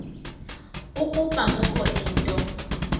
ukuba kukho into